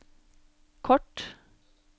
kort